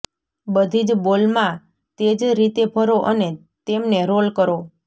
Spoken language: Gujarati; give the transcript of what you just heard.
બધી જ બોલમાં તે જ રીતે ભરો અને તેમને રોલ કરો